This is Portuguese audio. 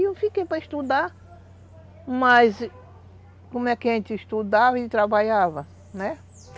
Eu fiquei para estudar, mas como é que a gente estudava e trabalhava, né?